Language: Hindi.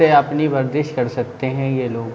से अपनी वरदीश कर सकते है ये लोग।